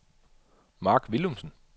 Marc Willumsen